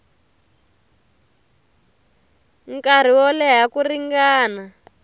nkarhi wo leha ku ringana